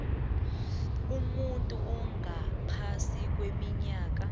umuntu ongaphasi kweminyaka